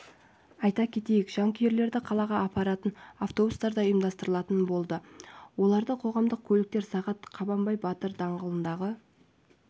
айта кетейік жанкүйерлерді қалаға апаратын автобустар да ұйымдастырылатын болады оларды қоғамдық көліктер сағат қабанбай батыр даңғылындағы